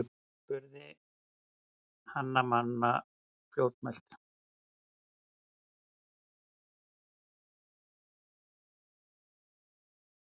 spurði Hanna-Mamma fljótmælt.